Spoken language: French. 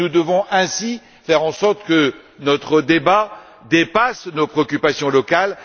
Nous devons ainsi faire en sorte que notre débat dépasse nos préoccupations locales.